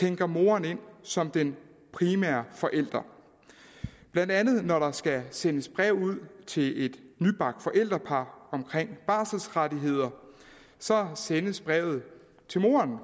henter moren ind som den primære forælder blandt andet når der skal sendes brev ud til et nybagt forældrepar om barselsrettigheder så sendes brevet til moren